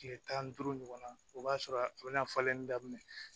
Tile tan ni duuru ɲɔgɔnna o b'a sɔrɔ a bɛna falen daminɛ